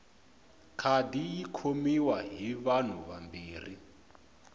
khadi yi khomiwa hi vanhu vambirhi